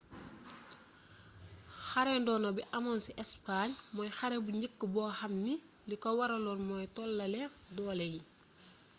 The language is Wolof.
xare ndono bi amoon ci espagne mooy xare bu njëkk bo xam ni liko waralon mooy tollale doole yi